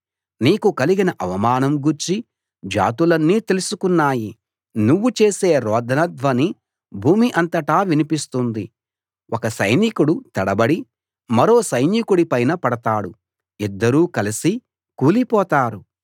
నీకు కలిగిన అవమానం గూర్చి జాతులన్నీ తెలుసుకున్నాయి నువ్వు చేసే రోదన ధ్వని భూమి అంతటా వినిపిస్తుంది ఒక సైనికుడు తడబడి మరో సైనికుడి పైన పడతాడు ఇద్దరూ కలసి కూలి పోతారు